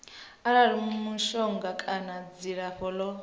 arali mishonga kana dzilafho ḽo